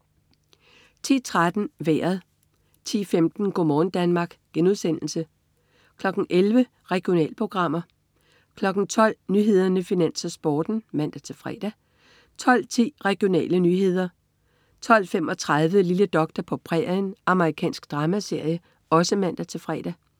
10.13 Vejret (man-fre) 10.15 Go' morgen Danmark* (man-fre) 11.00 Regionalprogrammer (man-fre) 12.00 Nyhederne, Finans, Sporten (man-fre) 12.10 Regionale nyheder (man-fre) 12.35 Lille doktor på prærien. Amerikansk dramaserie (man-fre)